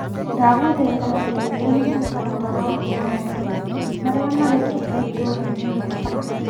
Ndagũthaitha ndeithia na mũtaratara wa maũndũ marĩa marekĩka itũra-inĩ rĩakwa.